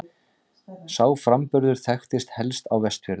Sá framburður þekktist helst á Vestfjörðum.